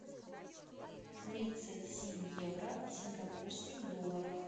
тридцать семь евро в сингапурских долларах